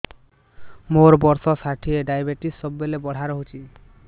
ମୋର ବର୍ଷ ଷାଠିଏ ଡାଏବେଟିସ ସବୁବେଳ ବଢ଼ା ରହୁଛି